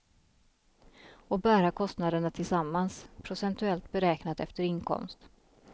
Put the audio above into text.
Och bära kostnaderna tillsammans, procentuellt beräknat efter inkomst.